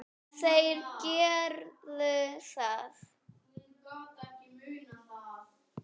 Þeir gerðu það.